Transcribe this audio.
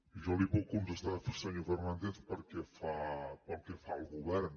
jo li puc contestar senyor fernàndez pel que fa al govern